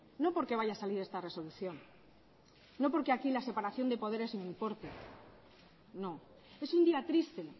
no porque vaya a salir esta resolución no porque aquí la separación de poderes no importe no es un día triste